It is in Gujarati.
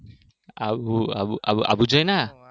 આબુ આબુ આબુ જોઇને આયા